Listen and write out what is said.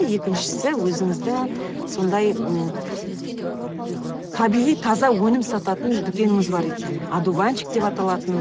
екіншісі өзіңіздің сондай м табиғи таза өнім сататын дүкеніңіз бар екен одуванчик деп аталатын